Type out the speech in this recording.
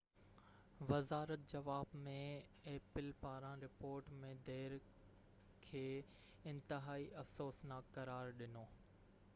وزارت جواب ۾ ايپل پاران رپورٽ ۾ دير کي ”انتهائي افسوسناڪ قرار ڏنو